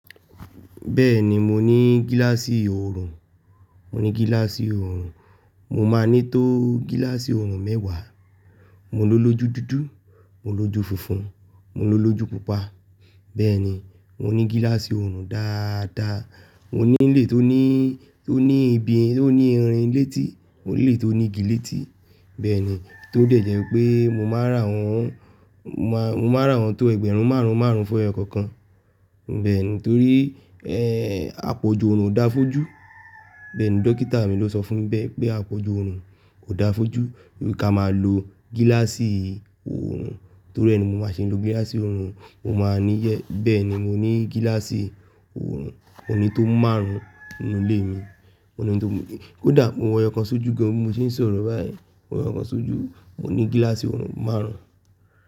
Bẹ́ẹ̀ni mo ní gíláàsì oòrùn, mo ní gíláàsì oòrùn. Mo máa ní tó gíláàsì oòrùn mẹ́wàá. Mo ló lójú dúdú, mo ló lójú funfun, mo ló lójú pupa. Bẹ́ẹ̀ni mo ní gíláàsì oòrùn dáadáa. Mo nílé tó ní, tó ní ibi, tó ní irin létí, mo nílé tó ní igi létí. Bẹ́ẹ̀ni, tó lè jẹ́ pé mo máa rà wọ́n, mo máa, mo máa rà wọ́n tó ẹgbẹ̀rún márùn-ún márùn-ún fún èyọ́ kan kan. Bẹ́ẹ̀ni torí, ẹ́, àpọ̀jù oòrùn ò dáa fójú. Bẹ́ẹ̀ni dókítà mi ló sọ fún mi bẹ́ẹ́ pé àpọ̀jù oòrùn kò dáa fójú, pé kí a máa lo gíláàsì oòrùn. Torí ẹ ni mo máa ṣe ń lo gíláàsì oòrùn, mo máa níyẹ̀, bẹ́ẹ̀ni mo ní gíláàsì oòrùn. Mo ní tó márùn-ún nínú ilé mi, mo ní tó Kódà mo wọ ẹyòkan sójú gan bi mo ti ń sọ̀rọ̀ báyìí. Mo wọ ẹkan sójú, mo ní gíláàsì oòrùn márùn-ún.